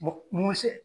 mun bɛ se